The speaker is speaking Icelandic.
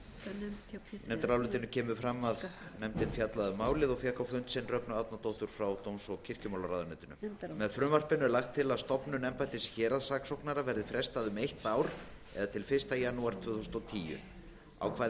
í nefndarálitinu kemur fram að nefndin fjallaði um málið og fékk á fund sinn rögnu árnadóttur frá dóms og kirkjumálaráðuneyti með frumvarpinu er lagt til að stofnun embættis héraðssaksóknara verði frestað um eitt ár eða til fyrsta janúar tvö þúsund og tíu ákvæði